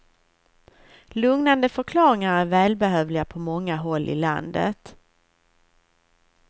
Lugnande förklaringar är välbehövliga på många håll i landet.